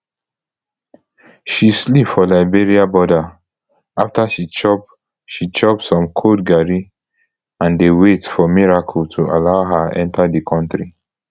she sleep for liberia border afta she chop she chop some cold garri and dey wait for miracle to allow her enta di kontri